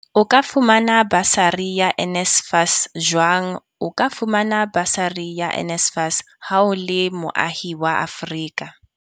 O ka fumana basari ya NSFAS jwang O ka fumana basari ya NSFAS ha o le moahi wa Afrika.